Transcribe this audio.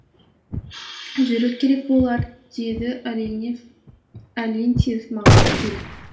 жүру керек болар деді оленев олентьев маған келіп